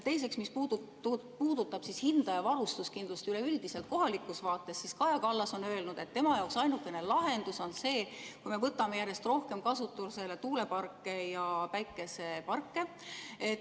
Teiseks, mis puudutab hinda ja varustuskindlust üleüldiselt kohalikus vaates, siis Kaja Kallas on öelnud, et tema jaoks ainuke lahendus on see, kui me võtame järjest rohkem kasutusele tuuleparke ja päikeseparke.